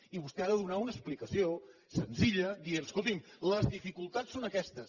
i vostè ha de donar una explicació senzilla dient escoltin les dificultats són aquestes